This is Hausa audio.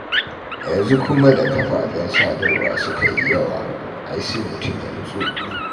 Yanzu kuwa da kafafen sadarwa suka yi yawa, ai sai mutum ya nutsu.